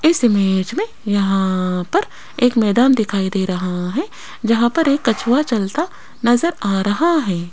इस इमेज में यहां पर एक मैदान दिखाई दे रहा है जहां पर एक कछुआ चलता नजर आ रहा है।